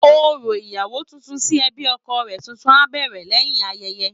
Orò ìyàwó tuntun sí ẹbí ọkọ rẹ̀ tuntun á bẹ̀rẹ̀ lẹ́yìn ayẹyẹ